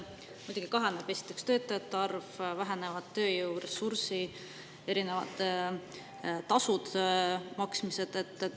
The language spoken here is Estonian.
Muidugi kahaneb esiteks töötajate arv, vähenevad tööjõuressursid, erinevad makstavad tasud.